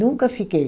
Nunca fiquei.